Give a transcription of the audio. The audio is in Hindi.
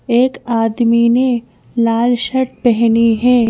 एक आदमी ने लाल शर्ट पहनी है।